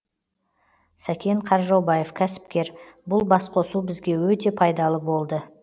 сәкен қаржаубаев кәсіпкер бұл басқосу бізге өте пайдалы болды